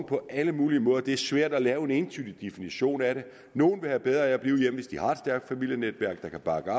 på alle mulige måder det er svært at lave en entydig definition af det nogle vil have bedre af at blive hjemme hvis de har et stærkt familienetværk der kan bakke